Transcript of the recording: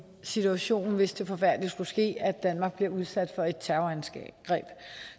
situation hvis det forfærdelige skulle ske at danmark bliver udsat for et terrorangreb